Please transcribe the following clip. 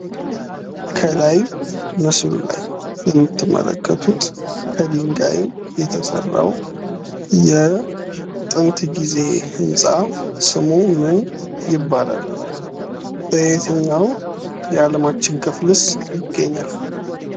ከላይ ምስሉ ላይ የምትመለከቱት ከድንጋይ የተሰራው የጥንት ጊዜ ህንፃ ስሙ ምን ይባላል። በየትኛው የአለማችን ክፍልስ ይገኛል።